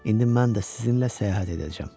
İndi mən də sizinlə səyahət edəcəm.